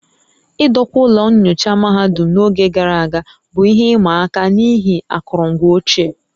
Idokwa ụlọ nyocha mahadum n'oge gara aga bụ ihe ịma aka n'ihi akụrụngwa ochie